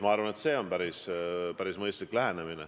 Ma arvan, et see on päris mõistlik lähenemine.